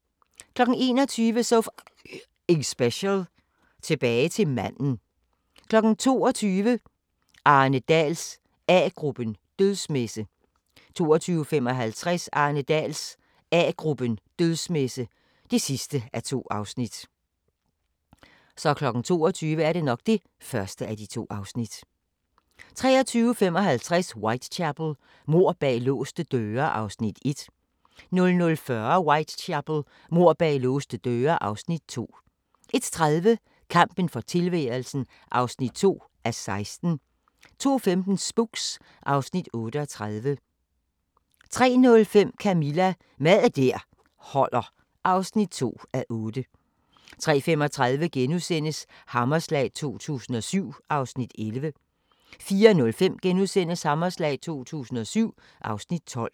21:00: So F***ing Special: Tilbage til manden 22:00: Arne Dahls A-gruppen: Dødsmesse 22:55: Arne Dahls A-gruppen: Dødsmesse (2:2) 23:55: Whitechapel: Mord bag låste døre (Afs. 1) 00:40: Whitechapel: Mord bag låste døre (Afs. 2) 01:30: Kampen for tilværelsen (2:16) 02:15: Spooks (Afs. 38) 03:05: Camilla – Mad der holder (2:8) 03:35: Hammerslag 2007 (Afs. 11)* 04:05: Hammerslag 2007 (Afs. 12)*